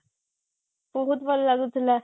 ବହୁତ ଭଲ ଲାଗୁଥିଲା